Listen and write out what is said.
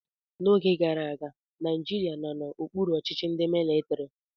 N'oge gara aga, Naijiria nọ n'okpuru ọchịchị ndị mịlịtịrị.